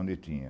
Onde tinha?